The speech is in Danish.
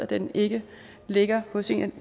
den ikke ligger hos en